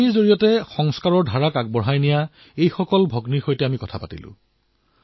কাহিনীৰ দ্বাৰা সংস্কাৰ চৰিতাক আগুৱাই নিয়া এই ভগ্নীসকলৰ কথা আমি শুনিলো